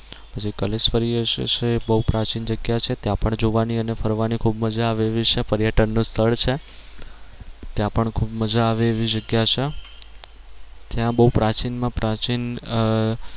પછી કલેશ્વરી છે એ બહુ પ્રાચીન જગ્યા છે ત્યાં પણ જોવાની અને ફરવાની ખૂબ મજા આવે એવી છે પર્યટન નું સ્થળ છે ત્યાં પણ ખૂબ મજા આવે એવી જગ્યા છે ત્યાં બહુ પ્રાચીન માં પ્રાચીન આહ